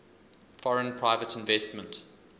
foreign private investment